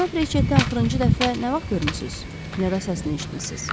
Cənab Reçeti axırıncı dəfə nə vaxt görmüsüz, ya da səsini eşitmisiz?